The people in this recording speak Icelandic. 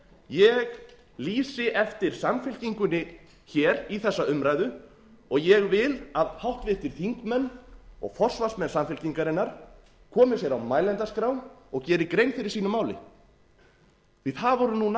ég lýsi eftir samfylkingunni hér í þessa umræðu og ég vil að háttvirtir þingmenn og forsvarsmenn samfylkingarinnar komi sér á mælendaskrá og geri grein fyrir sínu máli því að það voru nú